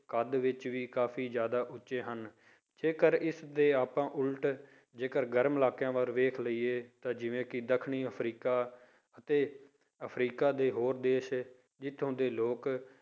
ਕੱਦ ਵਿੱਚ ਵੀ ਕਾਫ਼ੀ ਜ਼ਿਆਦਾ ਉੱਚੇ ਹਨ ਜੇਕਰ ਇਸਦੇ ਆਪਾਂ ਉੱਲਟ ਜੇਕਰ ਗਰਮ ਇਲਾਕਿਆਂ ਵੱਲ ਵੇਖ ਲਈਏ ਤਾਂ ਜਿਵੇਂ ਕਿ ਦੱਖਣੀ ਅਫ਼ਰੀਕਾ ਅਤੇ ਅਫ਼ਰੀਕਾ ਦੇ ਹੋਰ ਦੇਸ ਜਿੱਥੋਂ ਦੇ ਲੋਕ